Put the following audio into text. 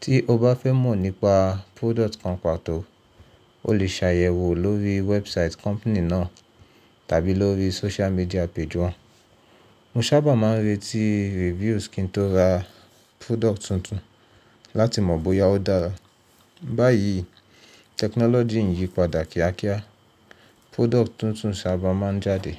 Tí o bá fẹ́ mọ̀ nípa product kan pàtó, o lè ṣàyẹ̀wò lórí website company náà tàbí lórí social media page wọn. Mo sábà máa ń retí reviews kí n tó ra product tuntun láti mọ̀ bóyá ó dára. Báyìí technology ń yípadà kíákíá, product tuntun sábà máa ń jáde.